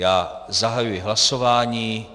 Já zahajuji hlasování.